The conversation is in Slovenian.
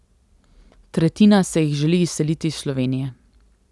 Tretjina se jih želi izseliti iz Slovenije.